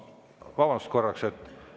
Vabandust korraks!